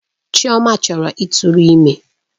Chioma chọrọ ịtụrụ ime.